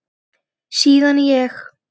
Síðan ég